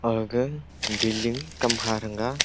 aga building tamkha dang ga.